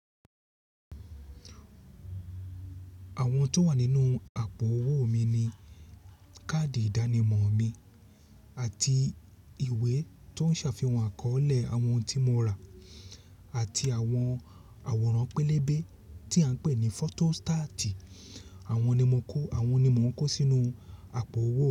Àwọn tó wà nínú àpò owó mi ni káàdì ìdánimọ̀ mi àti ìwé tó ń ṣàfihàn àkọọ́lẹ̀ àwọn tí mo rà àti àwọn àwòrán pélébé tí à ń pè ní fótò stáàtì. Àwọn ni mo kó, àwọn ni mò ń kó sínú àpò owó.